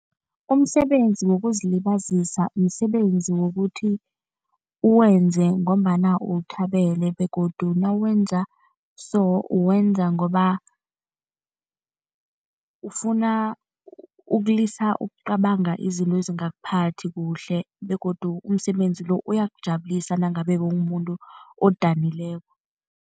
Umsebenzi wokuzilibazisa msebenzi wokuthi uwenze ngombana uwuthabele begodu nawenza so uwenza ngoba ufuna ukulisa ukucabanga izinto ezingakuphathi kuhle begodu umsebenzi lo uyakujabulisa nangabe bowumumuntu odanileko.